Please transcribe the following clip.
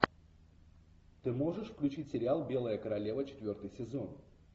ты можешь включить сериал белая королева четвертый сезон